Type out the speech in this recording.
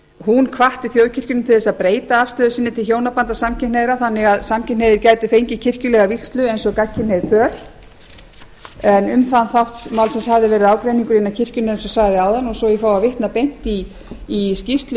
hún hvatti þjóðkirkjuna til þess að breyta afstöðu sinni til hjónabanda samkynhneigðra þannig að samkynhneigðir gætu fengið kirkjulega vígslu eins og gagnkynhneigð pör en um þann þátt málsins hafði verið ágreiningur innan kirkjunnar eins og sagði áðan og svo ég fái að vitna beint í skýrslu